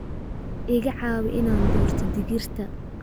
Iga caawi inaan doorto digirta